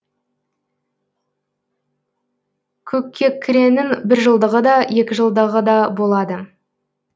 көккекіренің біржылдығы да екіжылдығы да болады